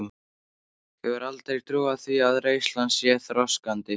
Hef heldur aldrei trúað því að reynslan sé þroskandi.